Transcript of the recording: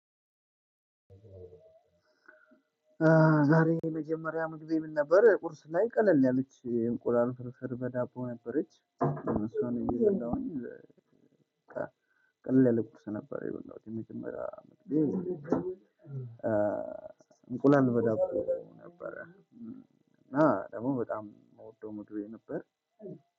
ዛሬ የመጀመሪያ ምግቤ ምን ነበር? ቁርስ ላይ ቀለል ያለች እንቁላል ፍርስር በዳቦ ነበረች። እሷን እየበላሁኝ። ቀለል ያለ ቁርስ ነበር የበላዉትኝ መጀመሪያ። እንቁላል በዳቦ ነበር እና ደግሞ በጣም ምወደው ምግቤ ነበር።